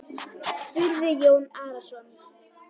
spurði Jón Arason.